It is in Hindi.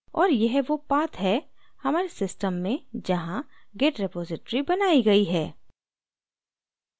और यह वो path है हमारे system में जहाँ git repository बनाई git है